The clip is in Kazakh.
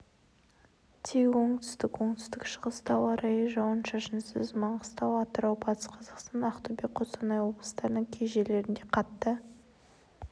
тек оңтүстік оңтүстік-шығыста ауа райы жауын-шашынсыз маңғыстау атырау батыс қазақстан ақтөбе қостанай облыстарының кей жерлерінде қатты